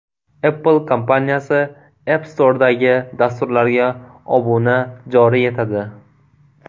Apple kompaniyasi App Store’dagi dasturlarga obuna joriy etadi.